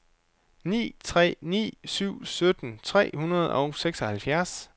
ni tre ni syv sytten tre hundrede og seksoghalvfjerds